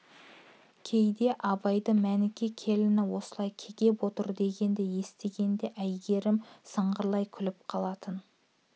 кейде абайды мәніке келіні осылай кекеп отыр дегенді естігенде әйгерім сыңғырлай күліп қалатын